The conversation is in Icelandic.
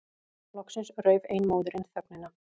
Loksins rauf ein móðirin þögnina.